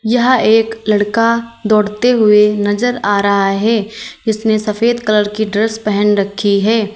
यह एक लड़का दौड़ते हुए नजर आ रहा है इसने सफेद कलर की ड्रेस पहन रखी है।